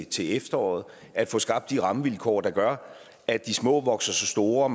til efteråret at få skabt de rammevilkår der gør at de små vokser sig store